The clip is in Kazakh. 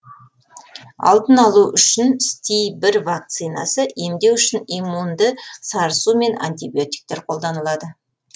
алдын алу үшін сти бір вакцинасы емдеу үшін иммунді сарысу мен антибиотиктер қолданылады